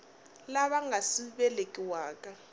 lava nga si ku velekiwaka